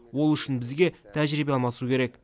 ол үшін бізге тәжірибе алмасу керек